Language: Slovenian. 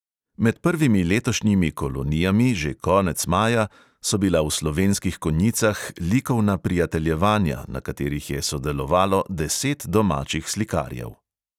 Med prvimi letošnjimi kolonijami, že konec maja, so bila v slovenskih konjicah likovna prijateljevanja, na katerih je sodelovalo deset domačih slikarjev.